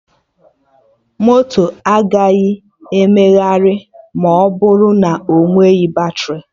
Moto agaghị emegharị ma ọ bụrụ na onweghị batrị